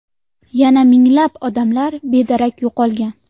Yana minglab odamlar bedarak yo‘qolgan.